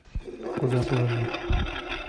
куда положить